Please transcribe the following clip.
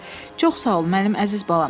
Çox sağ ol, mənim əziz balam.